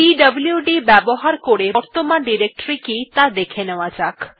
পিডব্লুড ব্যবহার করে বর্তমান ডিরেক্টরী কি ত়া দেখে নেওয়া যাক